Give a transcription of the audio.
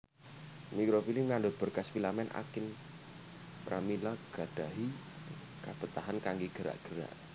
Mikrovili ngandut berkas filamen akin pramila gadahi kabetahan kangge gerak gerak